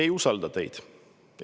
Me ei usalda teid.